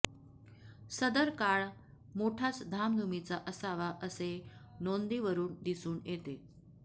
सदर काळ मोठाच धामधुमीचा असावा असे नोंदीवरून दिसून येते